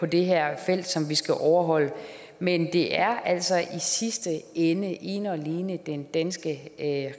det her felt som vi skal overholde men det er altså i sidste ende ene og alene den danske